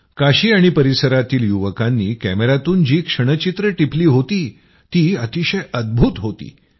काशी आणि परिसरातील युवकांनी कॅमयातून जी क्षणचित्रं टिपली होती ती अतिशय अद्भूत होती